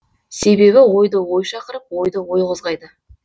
себебі ойды ой шақырып ойды ой қозғайды